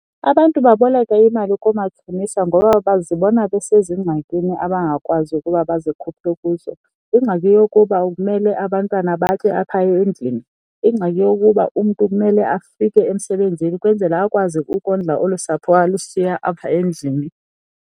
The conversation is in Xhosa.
Abantu baboleka imali koomatshonisa ngoba bazibona besezingxakini abangakwazi ukuba bazikhuphe kuzo. Ingxaki yokuba kumele abantwana batye apha endlini, ingxaki yokuba umntu kumele afike emsebenzini ukwenzela akwazi ukondla olu sapho alushiya apha endlini.